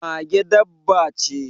Mage dabba ce.